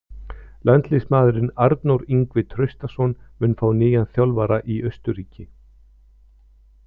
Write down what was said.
Landsliðsmaðurinn Arnór Ingvi Traustason mun fá nýjan þjálfara í Austurríki.